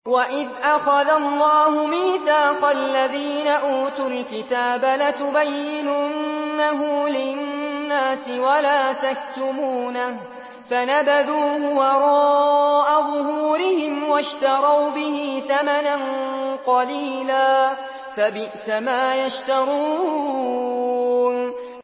وَإِذْ أَخَذَ اللَّهُ مِيثَاقَ الَّذِينَ أُوتُوا الْكِتَابَ لَتُبَيِّنُنَّهُ لِلنَّاسِ وَلَا تَكْتُمُونَهُ فَنَبَذُوهُ وَرَاءَ ظُهُورِهِمْ وَاشْتَرَوْا بِهِ ثَمَنًا قَلِيلًا ۖ فَبِئْسَ مَا يَشْتَرُونَ